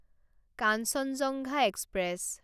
Kanchenjunga express